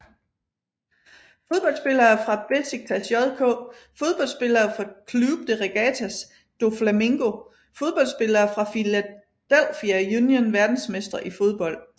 Fodboldspillere fra Beşiktaş JK Fodboldspillere fra Clube de Regatas do Flamengo Fodboldspillere fra Philadelphia Union Verdensmestre i fodbold